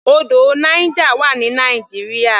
Odò Niger wà ní Nigeria.